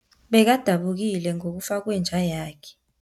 Bekadabukile ngokufa kwenja yakhe.